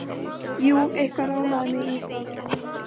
Jú, eitthvað rámaði mig í það.